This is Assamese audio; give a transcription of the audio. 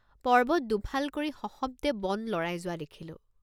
পৰ্বত দুফাল কৰি সশব্দে বন লৰাই যোৱা দেখিলোঁ।